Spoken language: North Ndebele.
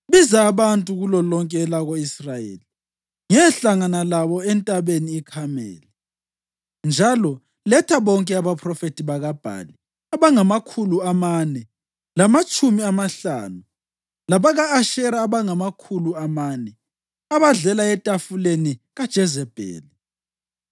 Biza abantu kulolonke elako-Israyeli ngiyehlangana labo eNtabeni iKhameli. Njalo letha bonke abaphrofethi bakaBhali abangamakhulu amane lamatshumi amahlanu labaka-Ashera abangamakhulu amane, abadlela etafuleni kaJezebheli.”